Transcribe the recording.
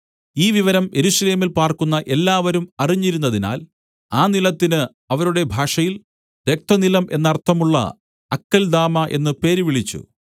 ഈ വിവരം യെരൂശലേമിൽ പാർക്കുന്ന എല്ലാവരും അറിഞ്ഞിരുന്നതിനാൽ ആ നിലത്തിന് അവരുടെ ഭാഷയിൽ രക്തനിലം എന്നർത്ഥമുള്ള അക്കല്ദാമാ എന്ന് പേര് വിളിച്ചു